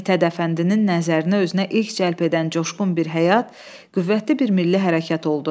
Mithət Əfəndinin nəzərinə özünə ilk cəlb edən coşqun bir həyat, qüvvətli bir milli hərəkat oldu.